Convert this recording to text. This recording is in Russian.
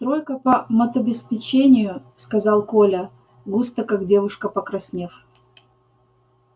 тройка по матобеспечению сказал коля густо как девушка покраснев